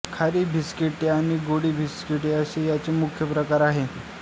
खारी बिस्किटे आणि गोडी बिस्किटे असे याचे मुख्य प्रकार आहेत